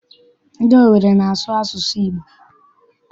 Ndị Owere na-asụ asụsụ Igbo.